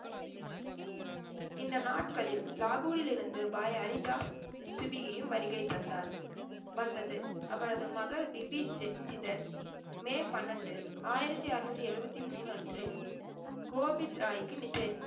இந்த நாட்களில் லாகூரில் இருந்து பாய் ஹரிதாஸ் சிபியையும் வருகை தந்தார், வந்தது. அவரது மகள் விவிக் ஜிக்ஜிதன் மே பன்னண்டு ஆயிரத்தி அறநூத்தி எழுவத்தி மூனு அன்று கோவித்ராய்க்கு நிச்சயம்,